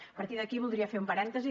a partir d’aquí voldria fer un parèntesi